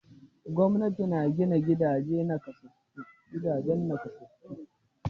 Gwamnati na gina gidan nakasassu.